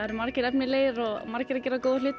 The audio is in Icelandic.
margir efnilegir og margir að gera góða hluti